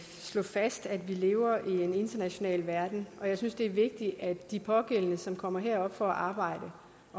fast at vi lever i en international verden og jeg synes det er vigtigt at de pågældende som kommer herop for at arbejde og